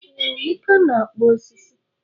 Ee, Emeka na-akpụ osisi.